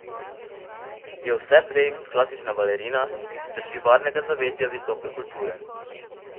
Je vse prej kot klasična balerina, ki se drži varnega zavetja visoke kulture.